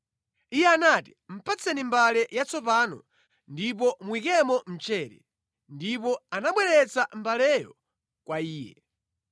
Iye anati, “Patseni mbale yatsopano ndipo muyikemo mchere.” Ndipo anabweretsa mbaleyo kwa iye.